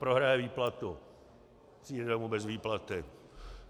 Prohraje výplatu, přijde domů bez výplaty.